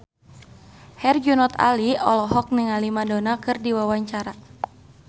Herjunot Ali olohok ningali Madonna keur diwawancara